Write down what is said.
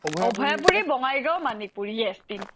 Abhayapuri Bongaigaon Manikpur yes তিনিটা